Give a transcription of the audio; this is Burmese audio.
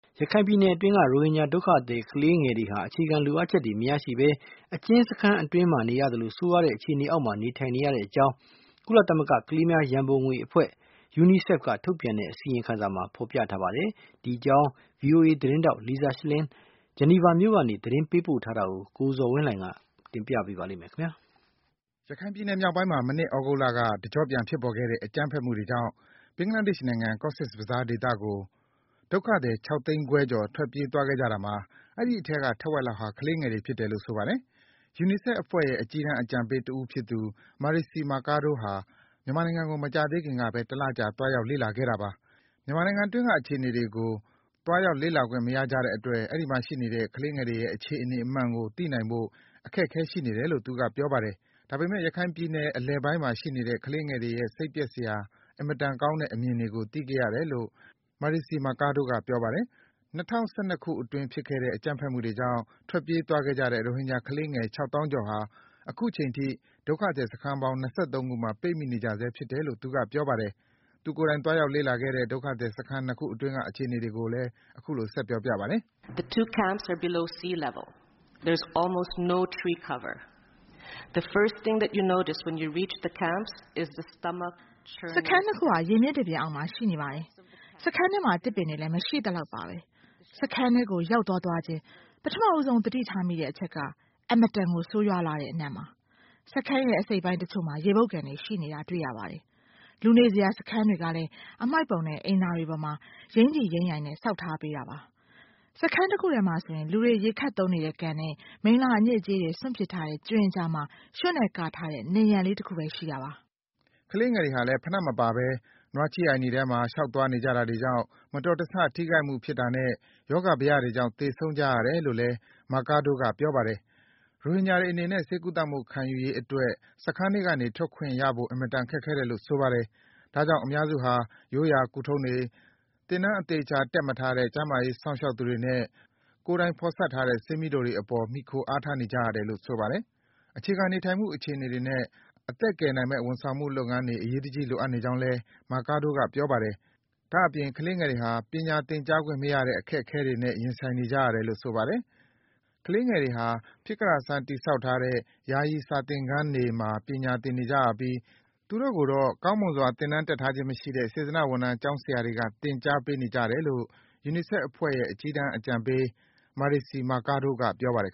ရခိုင်ပြည်နယ်အတွင်းက ရိုဟင်ဂျာ ဒုက္ခသည် ကလေးငယ်တွေဟာ အခြေခံလိုအပ်ချက်တွေ မရရှိဘဲ အကျဉ်းစခန်းအတွင်းမှာလို ဆိုးရွားတဲ့ အခြေအနေတွေအောက်မှာ နေထိုင်နေကြရကြောင်း ကုလသမဂ္ဂ ကလေးငယ်များရံပုံငွေအဖွဲ့ UNICEF ကထုတ်ပြန်တဲ့ အစီရင်ခံစာမှာ ဖော်ပြထားပါတယ်။ ဒီအကြောင်း ဗွီအိုအေသတင်းထောက် Lisa Schlein ဂျနီဗာမြို့ကနေ သတင်းပေးပို့ထားတာကို ကိုဇော်ဝင်းလှိုင်က တင်ပြပေးပါမယ်။ ရခိုင်ပြည်နယ်မြောက်ပိုင်းမှာ မနှစ် သြဂုတ်လကုန်ပိုင်းက တကျော့ပြန်ဖြစ်ပေါ်ခဲ့တဲ့ အကြမ်းဖက်မှုတွေကြောင့် ဘင်္ဂဘလားဒေ့ရှ်နိုင်ငံ၊ Cox’s Bazaar ဒေသကို ဒုက္ခသည် ၆ သိန်းခွဲကျော် ထွက်ပြေးသွားခဲ့ကြတာမှာ အဲဒီအထဲက ထက်ဝက်လောက်ဟာ ကလေးငယ်တွေ ဖြစ်တယ်လို့ ဆိုပါတယ်။ UNICEF အဖွဲ့ရဲ့ အကြီးတန်းအကြံပေးတဦးဖြစ်သူ Marixie Mercado ဟာ မြန်မာနိုင်ငံကို မကြာသေးခင်ကဘဲ တလကြာသွားရောက် လေ့လာခဲ့တာပါ။ မြန်မာနိုင်ငံအတွင်းက အခြေအနေတွေကို သွားရောက် လေ့လာခွင့်မရတဲ့အတွက် အဲဒီမှာ ကျန်ရှိနေတဲ့ ကလေးငယ်တွေရဲ့ အခြေအနေမှန်ကို သိခိုင်ဖို့ အခက်အခဲရှိနေတယ်လို့ သူက ပြောပါတယ်။ ဒါပေမယ့် ရခိုင်ပြည်အလယ်ပိုင်းမှာ ရှိနေတဲ့ ကလေးငယ်တွေရဲ့ စိတ်ပျက်စရာ အင်မတန်ကောင်းတဲ့ အမြင်တွေကို သိခဲ့ရတယ်လို့ Marixie Mercado က ပြောပါတယ်။ ၂၀၁၂ ခုနှစ်အတွင်း ဖြစ်ခဲ့တဲ့ အကြမ်းဖက်မှုတွေကြောင့် ထွက်ပြေးသွားကြတဲ့ ရိုဟင်ဂျာ ကလေးငယ် ၆ သောင်းကျော်ဟာ အခုချိန်ထိ ဒုက္ခသည်စခန်းပေါင်း ၂၃ ခုမှာ ပိတ်မိနေကြဆဲဖြစ်တယ်လို့ သူက ပြောပါတယ်။ သူကိုယ်တိုင် သွားရောက် လေ့လာခဲ့တဲ့ ဒုက္ခသည် စခန်း ၂ ခုအတွင်းက အခြေအနေတွေကို အခုလို ပြောပြပါတယ်။ “စခန်း ၂ ခုဟာ ရေမျက်နှာပြင်အောက်မှာ ရှိနေပါတယ်။ စခန်းထဲမှာ သစ်ပင်တွေလည်း မရှိသလောက်ပါဘဲ။ စခန်းထဲကို ရောက်သွားသွားချင်း ပထမဆုံး သတိထားမိတဲ့အချက်ကတော့ အင်မတန် ဆိုးရွားလှတဲ့အနံ့ ဖြစ်ပါတယ်။ စခန်းရဲ့ အစိတ်အပိုင်း တချို့မှာ ရေပုပ်ကန်တွေ ရှိနေပါတယ်။ လူနေစရာ စခန်းတွေကလည်း အမှိုက်ပုံနဲ့ အိမ်သာတွေပေါ်မှာ ယိုင်တိယိုင်နဲ့ ဆောက်ထားပေးတာ ဖြစ်ပါတယ်။ စခန်းတခုထဲမှာတော့ လူတွေရေခပ်သုံးတဲ့ကန်နဲ့ မိလ္လာအညစ်အကြေးတွေ စွန့်ပစ်ထားတဲ့ကြွင်းအကြားမှာ ရွံ့နဲ့ကာထားတဲ့ နံရံလေး တခုဘဲ ရှိပါတယ်။” ကလေးငယ်တွေဟာလည်း ဖိနပ်မပါဘဲ နွားချည်းအိုင်တွေထဲမှာ လျှောက်သွားနေကြတာကြောင့် မတော်တဆ ထိခိုက်မှုဖြစ်တာနဲ့ ရောဂါဘယတွေကြောင့် သေဆုံးကြရတယ်လို့လည်း Mercado က ပြောပါတယ်။ ရိုဟင်ဂျာတွေအနေနဲ့ ဆေးကုသမှု ခံယူရေးအတွက် စခန်းထွက်ကနေ ထွက်ခွင့်ရဖို့ အင်မတန် ခက်ခဲတယ်လို့ ဆိုပါတယ်။ ဒါကြောင့် အများစုဟာ ရိုးရာကုထုံးတွေ၊ သင်တန်း အသေချာ တက်မထားတဲ့ ကျန်းမာရေးစောင့်ရှောက်သူတွေနဲ့ ကိုယ်တိုင်ဖော်စပ်တဲ့ ဆေးမြီးတိုတွေအပေါ် မှီခိုအားထားနေရတယ်လို့ ဆိုပါတယ်။ အခြေခံနေထိုင်မှု အခြေအနေတွေနဲ့ အသက်ကယ်နိုင်မယ့် ဝန်ဆောင်မှုလုပ်ငန်းတွေ အရေးတကြီးလိုအပ်နေကြောင်းလည်း Mercado က ပြောပါတယ်။ ဒါ့အပြင် ကလေးငယ်တွေဟာ ပညာသင်ကြားခွင့်မရတဲ့ အခက်အခဲတွေနဲ့ ရင်ဆိုင်နေကြရတယ်လို့ ဆိုပါတယ်။ ကလေးငယ်တွေဟာ ဖြစ်ကတတ်ဆန်း တည်ဆောက်ထားတဲ့ ယာယီ စာသင်ခန်းတွေ ပညာသင်နေကြရပြီး သူတို့ကိုတော့ ကောင်းမွန်စွာ သင်တန်းတက်ထားခြင်းမရှိတဲ့ စေတနာ့ဝန်ထမ်း ကျောင်းဆရာတွေက သင်ကြားပေးနေကြတယ်လို့ UNICEF အဖွဲ့ရဲ့ အကြီးတန်း အကြံပေး Marixie Mercado က ပြောပါတယ်